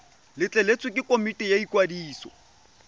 letleletswe ke komiti ya ikwadiso